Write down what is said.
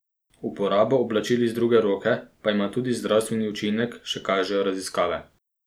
Uporaba oblačil iz druge roke pa ima tudi zdravstveni učinek, še kažejo raziskave.